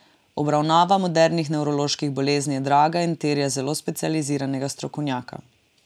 Obravnava modernih nevroloških bolezni je draga in terja zelo specializiranega strokovnjaka.